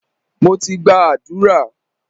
Mo ti gba àdúrà.